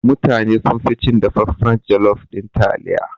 Mutane sunfi cin dafaffan jalof ɗin taliya.